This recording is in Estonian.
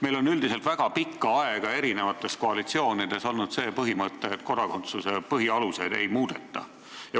Meil on üldiselt väga pikka aega eri koalitsioonides olnud see põhimõte, et kodakondsuse põhialuseid ei muudeta.